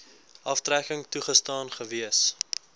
aftrekking toegestaan gewees